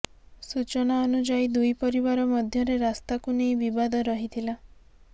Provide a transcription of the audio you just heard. ସୂଚନା ଅନୁଯାୟୀ ଦୁଇ ପରିବାର ମଧ୍ୟରେ ରାସ୍ତାକୁ ନେଇ ବିବାଦ ରହିଥିଲା